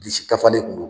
Bilisi dafalen kun do